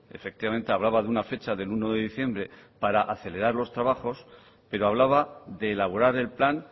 efectivamente hablaba de una fecha del uno de diciembre para acelerar los trabajos pero hablaba de elaborar el plan